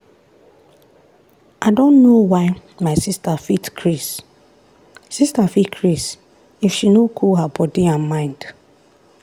i don know why my sister fit craze sister fit craze if she no cool her body and mind.